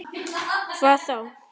Hvað þá?